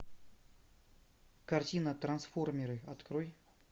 картина трансформеры открой